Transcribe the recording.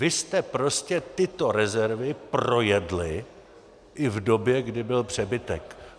Vy jste prostě tyto rezervy projedli i v době, kdy byl přebytek.